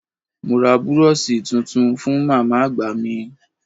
Mo ra búróóṣì tuntun fú màmá àgbà mi.